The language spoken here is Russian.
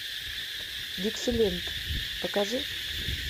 диксиленд покажи